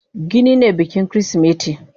Gini ne bikin kirismeti.